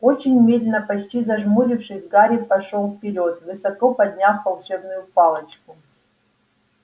очень медленно почти зажмурившись гарри пошёл вперёд высоко подняв волшебную палочку